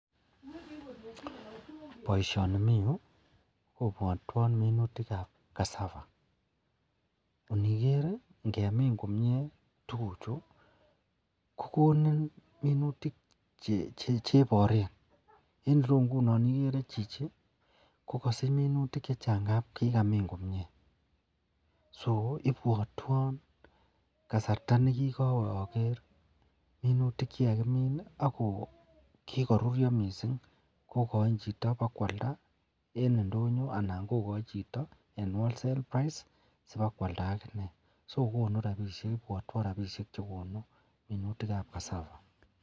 Baishoni Ni miyu kobwatwon minutik ab cassava oniker ngemin komie tuguk Chu kokonin minutik chebaraen en ireyu inginon igere Chichi kokasich minutik chechang amun kikamin komie so ibwatwon kasarta nekikawe Ager minutik chekikakimin kokarurio mising kokain Chito kowakwalda en ndonyo anan kogai Chito en wholesale price sokowakwalda akinee akokonu rabishek chekonu minutik ab cassava